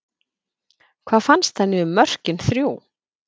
Hvað fannst henni um mörkin þrjú?